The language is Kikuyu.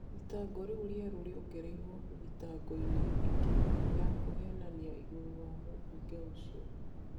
Thitango riu rieru riongereirwo thitango ini ingi ya kuhenania igũrũ wa mũbunge ucio.